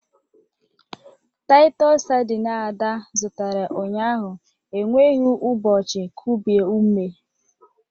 Titos sardineA da zụtara ụnyaahụ enweghị ụbọchị kubie ume.